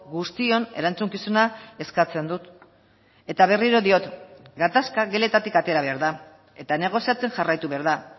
guztion erantzukizuna eskatzen dut eta berriro diot gatazka geletatik atera behar da eta negoziatzen jarraitu behar da